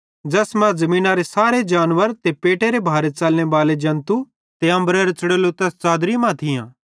ज़ैस मां ज़मीनरे सारे जानवर ते पेटेरे भारे च़लने बाले जन्तू ते अम्बरेरां च़ुड़ोलू तैस च़ादरी मां थियां